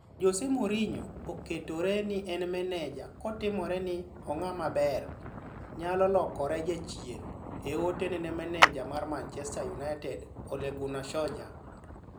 (Mail) Jose Mourinho oketore ni en maneja kotimore ni 'ong'ama ber' nyalo lokore 'jachien' e ote ne ne maneja mar Manchester United Ole Gunnar Solskjaer.